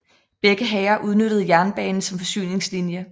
Begge hære udnyttede jernbanen som forsyningslinje